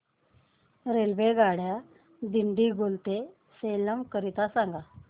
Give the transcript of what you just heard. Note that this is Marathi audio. रेल्वेगाड्या दिंडीगुल ते सेलम करीता सांगा